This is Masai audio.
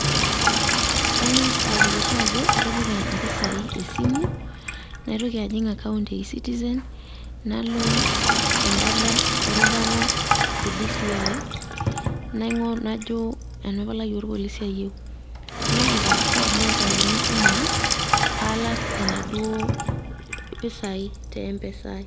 Kangas ahakikisha ajo atipika mpisai esimu ,naitoki ajing account e ecitizen nalo em`bata erubata ecs)(DCI nain`go najo ena palai oorpolisi ayieu ,neeta code nairiwakini esimu ai paalak enaduoo pisai te mpesa ai.